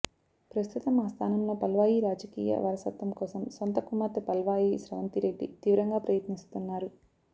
ప్రస్తుతం ఆ స్థానంలో పాల్వాయి రాజకీయ వారసత్వం కోసం సొంత కుమార్తె పాల్వాయి స్రవంతిరెడ్డి తీవ్రంగా ప్రయత్నిస్తున్నారు